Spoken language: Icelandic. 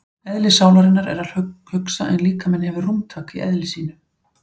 Eðli sálarinnar er að hugsa en líkaminn hefur rúmtak í eðli sínu.